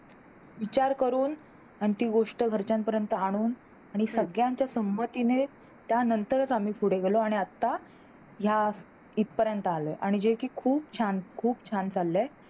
विचार करून अन ती गोष्ट घरच्यांपर्यंत आनूण आणि सगळ्यांच्या संमतीने आणि त्या नंतरच आम्ही पुढे गेलो आणि आता ह्या इत पर्यंत आलो आणि जे की खूप छान खूप छान चाललंय